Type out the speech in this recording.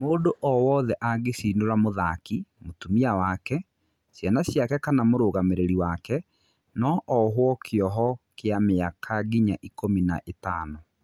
Mũndũ o wothe angĩcinura mũthaki, mũtumia wake, ciana ciake kana mũrũgamĩrĩri wake no ohũo kĩoho kĩa mĩaka nginya ikũmi na ĩtano.